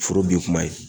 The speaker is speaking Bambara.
Foro bin kuma ye